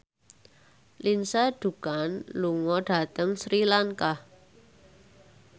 Lindsay Ducan lunga dhateng Sri Lanka